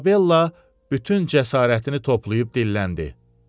İzabella bütün cəsarətini toplayıb dilləndi.